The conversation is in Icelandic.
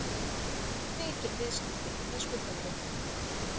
Mikil viðskipti með skuldabréf